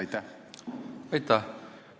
Aitäh!